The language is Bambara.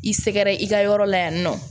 I sɛgɛrɛ i ka yɔrɔ la yan nɔ